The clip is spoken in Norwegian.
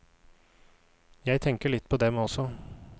Jeg tenker litt på dem også.